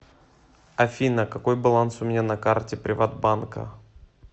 афина какой баланс у меня на карте приват банка